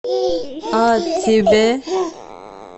а тебе